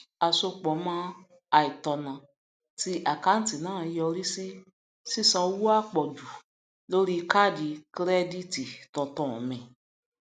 asọpọmọ àìtọnà ti àkáńtì náà yọrí sí sísan owó àpọjù lórí káàdì kirẹdììtì tuntun mi